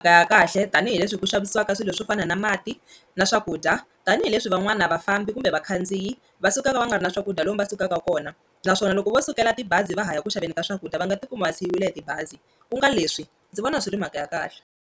ya kahle tanihileswi hi ku xavisiwaka swilo swo fana na mati na swakudya tanihileswi van'wana vafambi kumbe vakhandziyi va sukaka va nga ri na swakudya lomu va sukaka kona naswona loko vo sukela tibazi va ha ya ku xaveni ka swakudya va nga tikumi va siyiwile hi tibazi ku nga leswi ndzi vona swi ri mhaka ya kahle.